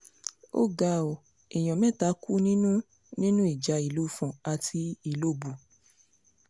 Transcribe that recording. ó ga ọ́ èèyàn mẹ́ta kú nínú nínú ìjà ìlú ifon àti ìlọ́bù